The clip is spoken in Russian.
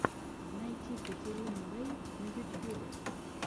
найти катерину рэй на ютьюбе